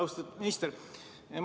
Austatud minister!